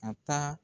A taa